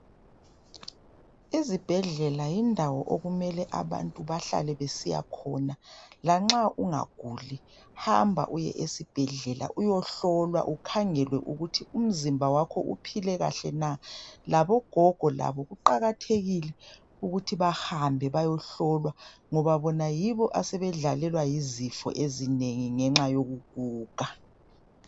Izibhedlela yindawo okumele abantu bahlale besiya khona. Lanxa ungaguli, hamba uye esibhedlela uyohlolwa ukhangelwe ukuthi umzimba wakho uphile kahle na! Labo gogo labo kuqakathekile ukuthi bahambe bayohlolwa ngoba bona yibo asebedlalelwa yizifo ezinengi ngenxa yokuguga.